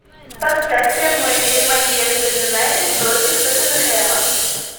поставь прямой эфир манчестер юнайтед против тоттенхэма